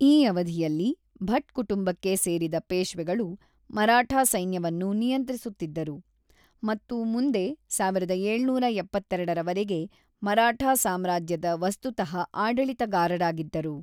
ಈ ಅವಧಿಯಲ್ಲಿ, ಭಟ್ ಕುಟುಂಬಕ್ಕೆ ಸೇರಿದ ಪೇಶ್ವೆಗಳು ಮರಾಠಾ ಸೈನ್ಯವನ್ನು ನಿಯಂತ್ರಿಸುತ್ತಿದ್ದರು ಮತ್ತು ಮುಂದೆ ಸಾವಿರದ ಏಳುನೂರ ಎಪ್ಪತ್ತೆರಡರವರೆಗೆ ಮರಾಠಾ ಸಾಮ್ರಾಜ್ಯದ ವಸ್ತುತಃ ಆಡಳಿತಗಾರರಾಗಿದ್ದರು.